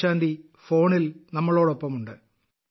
വിജയശാന്തി ഫോണിൽ നമ്മളോടൊപ്പമുണ്ട്